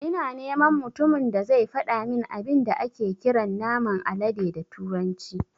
Ina neman mutumin da zai fadamin abin da ake kiran naman alade da turanci